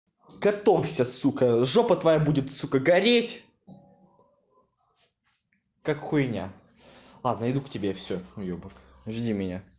готовься сука жопа твоя будет сука гореть как хуйня ладно иду к тебе всё уёбок жди меня